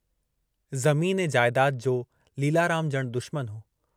ज़मीन ऐं जायदाद जो लीलाराम जणु दुश्मनु हो।